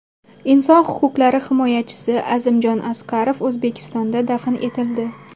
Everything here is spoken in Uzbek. Inson huquqlari himoyachisi Azimjon Asqarov O‘zbekistonda dafn etildi.